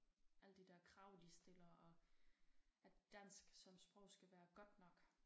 Alle de der krag de stiller og at dansk som sprog skal være godt nok